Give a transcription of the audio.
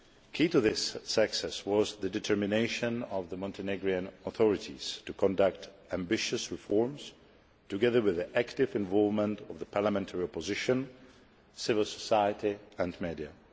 Key to this success was the determination of the Montenegrin authorities to conduct ambitious reforms, together with the active involvement of the parliamentary opposition, civil society and the media.